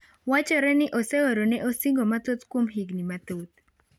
Wachore ni oseorone osigo mathoth kuom higni mathoth .